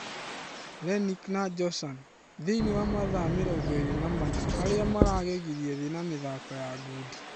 Lenick na Joshan: Thĩinĩ wa mathaa mĩrongo ĩrĩ na mana harĩa maragegirie thĩĩ ya mĩthako ya ngundi.